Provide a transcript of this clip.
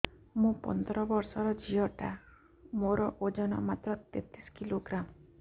ମୁ ପନ୍ଦର ବର୍ଷ ର ଝିଅ ଟା ମୋର ଓଜନ ମାତ୍ର ତେତିଶ କିଲୋଗ୍ରାମ